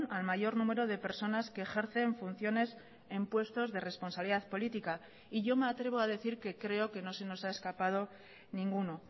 al mayor número de personas que ejercen funciones en puestos de responsabilidad política y yo me atrevo a decir que creo que no se nos ha escapado ninguno